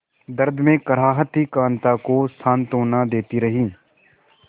दर्द में कराहती कांता को सांत्वना देती रही